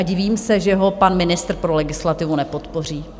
A divím se, že ho pan ministr pro legislativu nepodpoří.